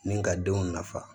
Ni ka denw nafa